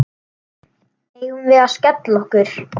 Eigum við að skella okkur?